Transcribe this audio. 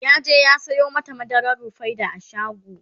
yaje ya Sayo mata madarar rufaida a shago